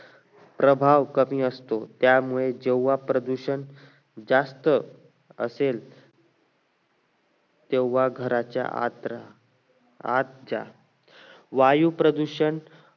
प्रभाव कमी असतो त्यामुळे जेव्हा प्रदूषण जास्त असेल तेव्हा घराच्या आत रहा आत जा वायू प्रदूषण